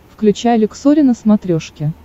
включай люксори на смотрешке